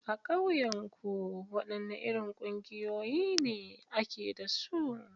A kauyenku, wadanne irin kungiyoyi ne ake da su?